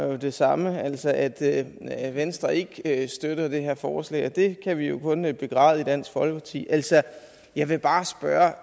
var det samme altså at venstre ikke støttede det her forslag og det kan vi jo kun begræde i dansk folkeparti jeg vil bare spørge